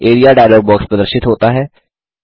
area dialogue box प्रदर्शित होता है